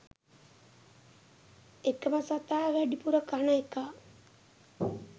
එකම සතා වැඩිපුර කන එකා